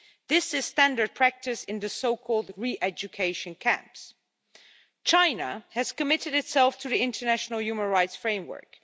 This is standard practice in the so-called re-education camps. China has committed itself to the international human rights framework.